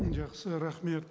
жақсы рахмет